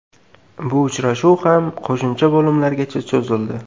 Bu uchrashuv ham qo‘shimcha bo‘limlargacha cho‘zildi.